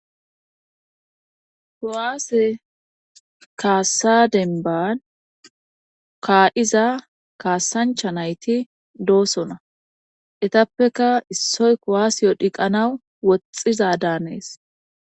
Kuwaase kaasadenban kaadiza kaasancha nayti doosona etappeka issoy kowaasiyo dhiqanaw woxxiza daanees